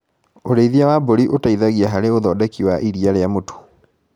ũrĩithia wa mbũri ũteithagia harĩ ũthondeki wa iria rĩa mũtu.